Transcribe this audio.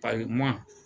Ayi ma